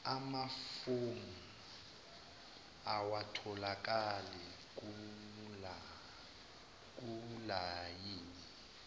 amafomu awatholakali kulayini